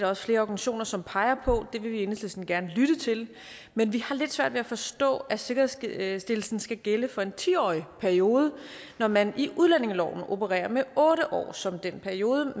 også flere organisationer som peger på det vil vi i enhedslisten gerne lytte til men vi har lidt svært ved at forstå at sikkerhedsstillelsen skal gælde for en ti årig periode når man i udlændingeloven opererer med otte år som den periode